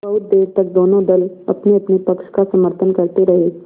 बहुत देर तक दोनों दल अपनेअपने पक्ष का समर्थन करते रहे